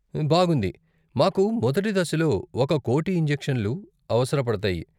బాగుంది. మాకు మొదటి దశలో ఒక కోటి ఇంజెక్షన్లు అవసరపడతాయి.